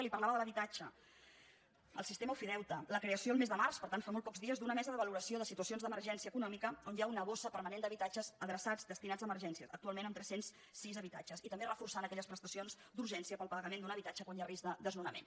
li parlava de l’habitatge el sistema ofideute la creació el mes de març per tant fa molt pocs dies d’una mesa de valoració de situacions d’emergència econòmica on hi ha una bossa permanent d’habitatges adreçats destinats a emergències actualment amb tres cents i sis habitatges i també reforçant aquelles prestacions d’urgència per al pagament d’un habitatge quan hi ha risc de desnonament